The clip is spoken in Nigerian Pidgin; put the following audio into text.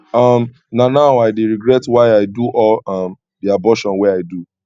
um na now i dey regret why i do all um the abortion wey i do